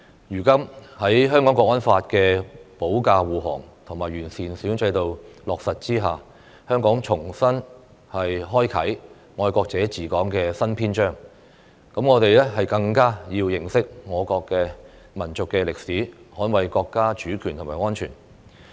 如今，在《香港國安法》的保駕護航及完善選舉制度落實之下，香港重新開啟"愛國者治港"的新篇章，我們更加要認識我國的民族歷史，捍衞國家主權和安全。